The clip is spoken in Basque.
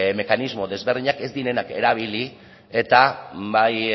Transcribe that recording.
mekanismo desberdinak ez direnak erabili eta bai